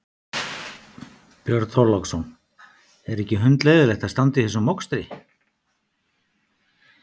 Björn Þorláksson: Er ekki hundleiðinlegt að standa í þessum mokstri?